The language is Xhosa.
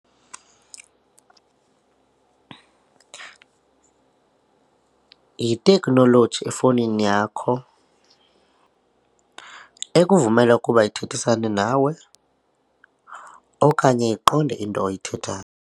Yithekhnoloji efowunini yakho ekuvumela ukuba ithethisane nawe okanye iqonde into oyithethayo.